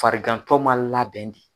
Farigantɔ man labɛn de.